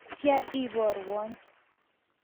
Tatya iporwon.